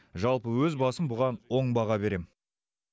жалпы өз басым бұған оң баға берем